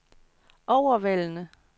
overvældende